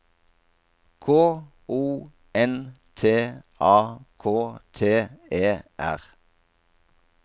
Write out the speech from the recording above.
K O N T A K T E R